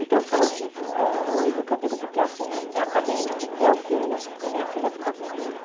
Então foi horrível, ah horrível que eu digo porque assim, acabei indo com meu filho e minha filha ficou com ele.